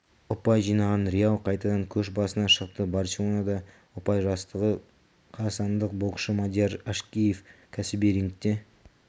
ұпай жинаған реал қайтадан көш басына шықты барселонада ұпай жастағы қазақстандық боксшы мадияр әшкеев кәсіби рингте